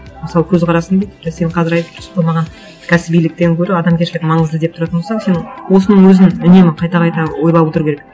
мысалы көзқарасым деп сен қазір айтып тұрсың ғой маған кәсібиліктен гөрі адамгершілік маңызды деп тұратын болсаң сен осының өзін үнемі қайта қайта ойлап отыру керек